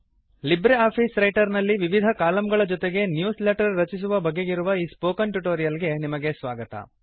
Libre Office Writer ನಲ್ಲಿ ವಿವಿಧ ಕಾಲಮ್ಗಳ ಜೊತೆಗೆ ನ್ಯೂಸ್ ಲೆಟರ್ ರಚಿಸುವ ಬಗೆಗಿರುವ ಈ ಸ್ಪೋಕನ್ ಟ್ಯುಟೋರಿಯಲ್ ಗೆ ನಿಮಗೆ ಸ್ವಾಗತ